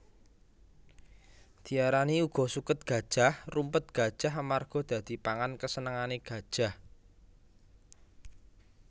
Diarani uga suket gajah Rumput Gajah amarga dadi pangan kesenange gajah